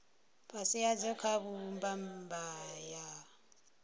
fhasi hadzo kha mbumbano ya